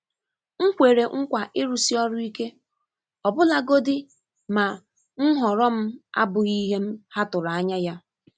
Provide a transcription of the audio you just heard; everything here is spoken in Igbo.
M kwere nkwa ịrụsi ọrụ ike, ọbụlagodi ma nhọrọ m abụghị ihe ha tụrụ anya ya.